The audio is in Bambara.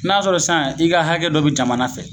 N'a sɔrɔ san i ka hakɛ dɔ bi jamana fɛ